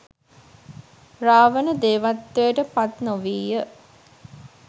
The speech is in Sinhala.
රාවණ දේවත්වයට පත් නොවිය